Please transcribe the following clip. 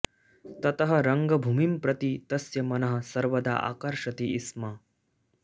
ततः रङ्गभूमिं प्रति तस्य मनः सर्वदा आकर्षति स्म